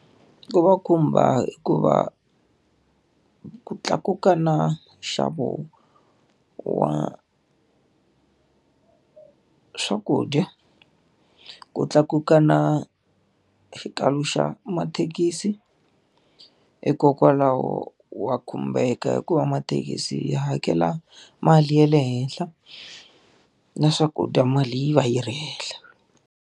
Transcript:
Ku va khumba hikuva ku tlakuka na nxavo wa swakudya, ku tlakuka na xikalo xa mathekisi. Hikokwalaho wa khumbeka hi ku va mathekisi hi hakela mali ya le henhla, na swakudya mali yi va yi ri henhla.